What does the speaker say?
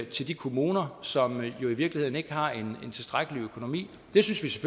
til de kommuner som jo i virkeligheden ikke har en tilstrækkelig økonomi vi synes